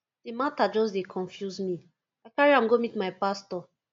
di mata just dey confuse me i carry am go meet my pastor